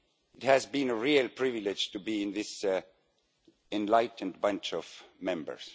It has been a real privilege to be in this enlightened bunch of Members.